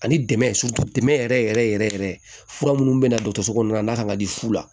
Ani dɛmɛ yɛrɛ yɛrɛ yɛrɛ fura minnu bɛ na dɔgɔso kɔnɔna na kan ka di fu la